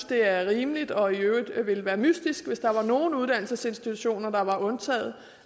det er rimeligt og i øvrigt ville være mystisk hvis der var nogle uddannelsesinstitutioner der var undtaget